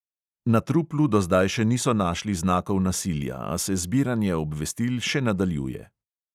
Na truplu do zdaj še niso našli znakov nasilja, a se zbiranje obvestil še nadaljuje.